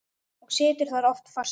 Og situr þar oft fastur.